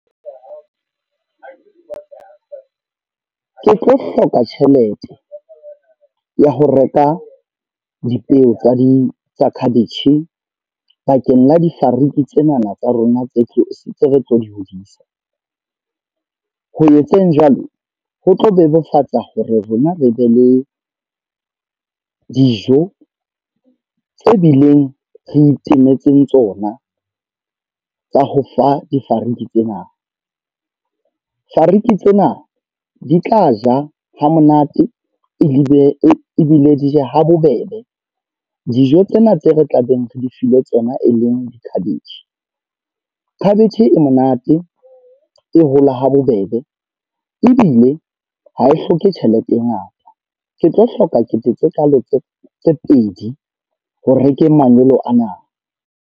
Ke tlo hloka tjhelete, ya ho reka dipeo tsa di tsa cabbage bakeng la difariki tsenana tsa rona tse tlo re tlo di hodisa. Ho etseng jwalo, ho tlo bebofatsa hore rona re be le dijo tse bileng re itemetseng tsona. Tsa ho fa difariki tsena. Fariki tsena di tla ja hamonate ebile e bile di je ha bobebe. Dijo tsena tseo re tla beng re lefile tsona e leng di cabbage. Khabetjhe e monate, e hola ha bobebe. Ebile ha e hloke tjhelete e ngata. Ke tlo hloka kete tse kalo tse tse pedi, ho rekeng manyolo ana.